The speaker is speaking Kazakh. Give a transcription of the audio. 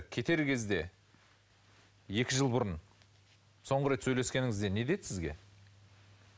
кетер кезде екі жыл бұрын соңғы рет сөйлескеніңізде не деді сізге